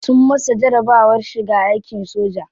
Sun masa jarabawar shiga aikin soja.